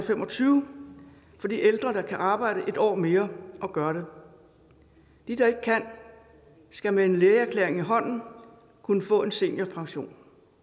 fem og tyve for de ældre der kan arbejde et år mere og gør det de der ikke kan skal med en lægeerklæring i hånden kunne få en seniorpension